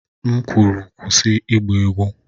M kwuru, kwụsị ịgba egwu!